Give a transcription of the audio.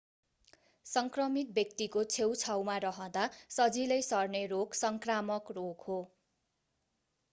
संक्रमित व्यक्तिको छेउछाउमा रहँदा सजिलै सर्ने रोग संक्रामक रोग हो